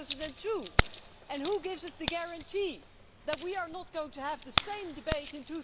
2002. Who will give us a guarantee that we are not going to have the same debate in